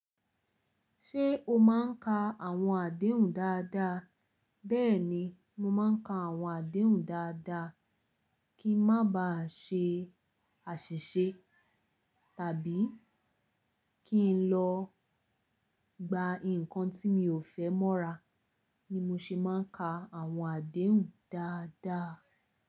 Ṣé o máa ń ka àwọn àdéhùn dáadáa? Bẹ́ẹ̀ni, mo máa ń ka àwọn àdéhùn dáadáa, kí ń má ba ṣe àṣìṣe tàbí kí n lọ gba nnkan tí mi ò fẹ́ mọ́ra ni mo ṣe máa ń ka àwọn àdéhùn dáadáa.